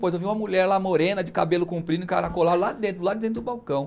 Depois eu vi uma mulher lá morena, de cabelo comprido, encaracolado, lá dentro do balcão.